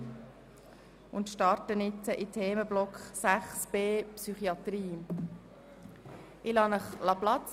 Jetzt fangen wir mit dem Themenblock 6.b Psychiatrie an.